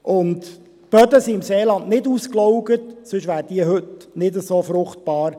Zudem sind die Böden im Seeland nicht ausgelaugt, sonst wären sie heute nicht so fruchtbar.